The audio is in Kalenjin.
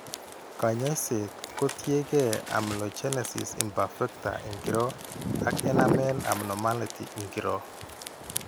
Kaany'ayseet ko tiyekeey amelogenesis imperfecta ing'iro ak enamel abnormality ing'iro.